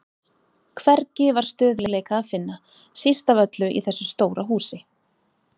Hvergi var stöðugleika að finna, síst af öllu í þessu stóra húsi.